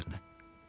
Allah xatirinə.